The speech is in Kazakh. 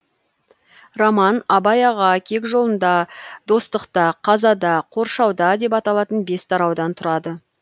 роман абай аға кек жолында достықта қазада қоршауда деп аталатын бес тараудан тұрады